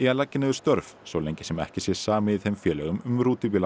að leggja niður störf svo lengi sem ekki sé samið í þeim félögum um